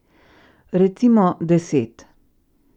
Recimo deset.